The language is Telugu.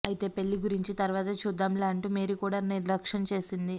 అయితే పెళ్లి గురించి తరువాత చూద్దాంలే అంటూ మేరీ కూడా నిర్లక్షం చేసింది